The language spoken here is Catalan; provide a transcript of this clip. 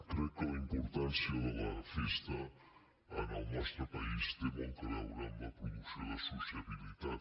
crec que la im·portància de la festa en el nostre país té molt a veure amb la producció de sociabilitat